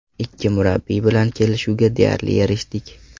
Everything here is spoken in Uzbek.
Ikki murabbiy bilan kelishuvga deyarli erishdik.